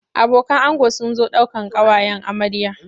Abokan ango sun zo daukan ƙawayen amarya.